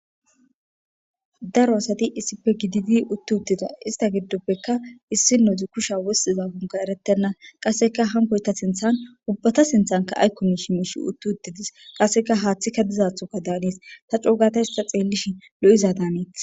daro asati issipe gididi uttu uttida ista giddoppekka issi noti kusha wossiza gunga erettenna qasseka hankoy ta sinthan ubbata sinthanka aykkom mishi mishi uttu uttidis qasseka haaththi ka dizathoka daanis ta coogata hista xeellishi lo7iza daaneeth